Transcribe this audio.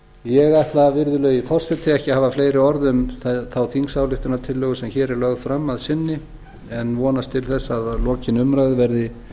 ég ætla virðulegi forseti ekki að hafa fleiri orð um þá þingsályktunartillögu sem hér er lögð fram að sinni en vonast til þess að lokinni umræðu verði